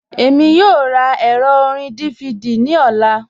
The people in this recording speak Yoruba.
Èmi yòò rá èrọ̀ orin DVD ní ọlá